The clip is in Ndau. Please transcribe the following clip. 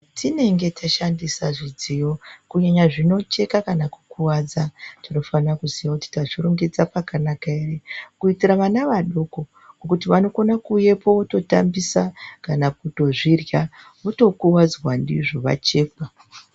Zvatinenge tashandisa zvidziyo, kunyanya zvinocheka kanakukuvadza, tinofane kuziya kuti tazvirongedza pakanakaere kuitira vana vadoko, ngokuti vanokone kuuyepo vototambisa kana kutozvirya, votokuwadzwa ndizvo vachekwa.